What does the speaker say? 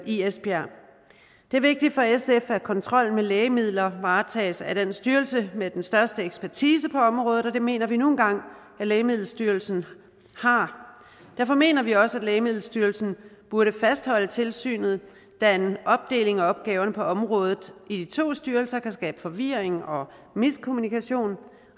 i esbjerg det er vigtigt for sf at kontrol med lægemidler varetages af styrelsen med den største ekspertise på området og det mener vi nu engang lægemiddelstyrelsen har derfor mener vi også at lægemiddelstyrelsen burde fastholde tilsynet da en opdeling af opgaverne på området i de to styrelser kan skabe forvirring og miskommunikation